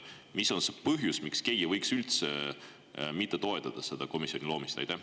Mis on see põhjus, miks keegi võiks üldse mitte toetada selle komisjoni loomist?